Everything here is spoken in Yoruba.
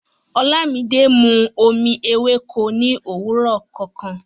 Olámídé mú omi èwéko ní owurọ kọọkan